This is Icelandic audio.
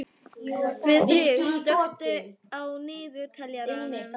Guðfríður, slökktu á niðurteljaranum.